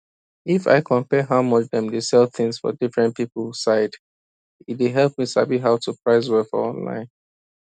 if i compare how much dem dey sell things for different people side e dey help me sabi how to price well for online